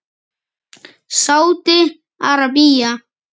Sádi Arabía